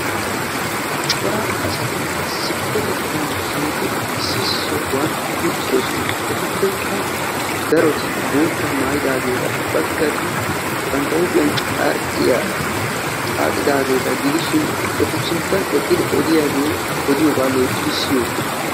corra assti issi sohuwani uttidossona etuppekka daroti boottaa maayidagetta etika odetidi de"yaba loyttidi ezgiidi de"oossona.